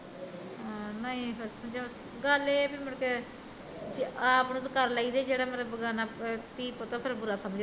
ਹਾਂ ਨਹੀਂ ਗੱਲ ਏਹ ਆ ਵੀ ਮੁੜ ਕੇ ਆਪ ਨੂੰ ਤੇ ਕਰ ਲਈ ਦੀ ਜਿਹੜਾ ਫਿਰ ਬੇਗਾਨਾ ਧੀ ਪੁੱਤ ਐ ਉਹ ਫਿਰ ਬੁਰਾ ਸਮਜਦਾ